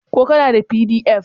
ko kana da pdf?